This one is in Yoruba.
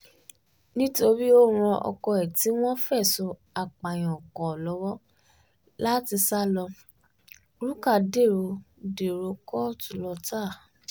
nítorí ó ran ọkọ ẹ̀ tí wọ́n fẹ̀sùn apààyàn kan lọ́wọ́ láti sá lọ rúkà dèrò dèrò kóòtù lọ́tà